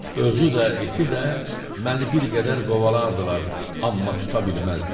Özü də, iti də məni bir qədər qovalardılar, amma tuta bilməzdilər.